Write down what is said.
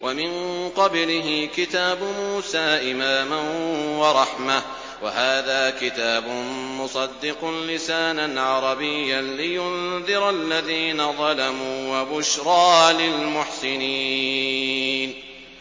وَمِن قَبْلِهِ كِتَابُ مُوسَىٰ إِمَامًا وَرَحْمَةً ۚ وَهَٰذَا كِتَابٌ مُّصَدِّقٌ لِّسَانًا عَرَبِيًّا لِّيُنذِرَ الَّذِينَ ظَلَمُوا وَبُشْرَىٰ لِلْمُحْسِنِينَ